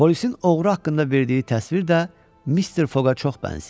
Polisin oğru haqqında verdiyi təsvir də Mister Foqa çox bənzəyirdi.